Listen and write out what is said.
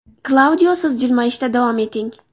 Klaudio, siz jilmayishda davom eting!